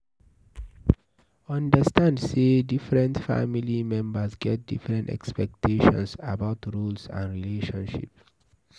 Understand sey different family members get different expectations about roles and relationship